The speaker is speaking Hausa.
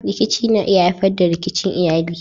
Rikici na iya haifar da rikicin iyali.